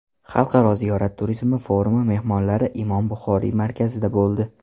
Xalqaro ziyorat turizmi forumi mehmonlari Imom Buxoriy markazida bo‘ldi.